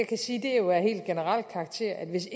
kan sige er af helt generel karakter hvis